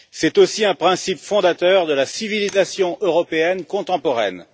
C'est aussi un principe fondateur de la civilisation européenne contemporaine.